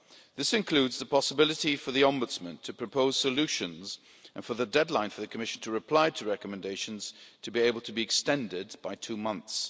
This includes the possibility for the Ombudsman to propose solutions and for the deadline for the Commission to reply to recommendations to be able to be extended by two months.